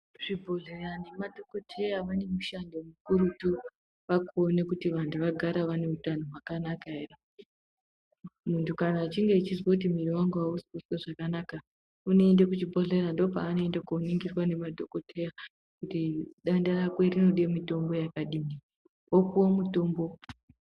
Zvibhodhleya nemadhokodheya vane mishando mukurutu, vakuone kuti vanthu vagare vane hutano hwakanaka ere. Muntu kana echinge eizwe kuti mwiiri wangu ausi ekuzwe zvakanaka, unoende kuchibhodhlera ,ndokwaanoende kooningirwa ngemadhogodheya kuti denda rako tinode mitombo yakadini. Wopuwe. mutombo.